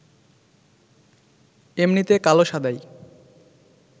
এমনিতে কালো সাদায়